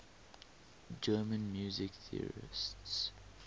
german music theorists